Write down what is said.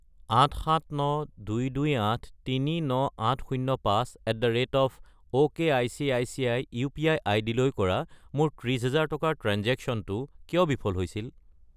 87922839805@okicici UPI. আইডিলৈ কৰা মোৰ 30000 টকাৰ ট্ৰেঞ্জেক্শ্য়নটো কিয় বিফল হৈছিল?